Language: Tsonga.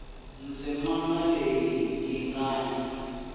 ndzimana leyi yi nga na